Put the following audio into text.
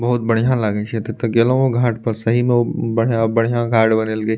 बहुत बढ़िया लागे छै ते ते गइलो ये घाट पे सही मे ओ बढ़िया-बढ़िया घाट बनेलके।